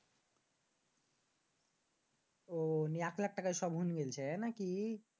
আহ অইন এক লাক্ষ টাকায় সব হয়েন গেছে নাকি?